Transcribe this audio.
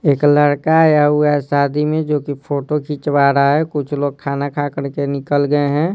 एक लड़का आया हुआ है शादी में जो कि फोटो खींचवा रहा है कुछ लोग खाना खा कर के निकल गए हैं।